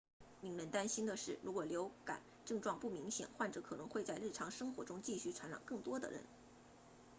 令人担心的是如果流感症状不明显患者可能会在日常生活中继续传染更多的人